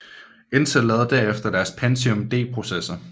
Intel lavede derefter deres Pentium D processor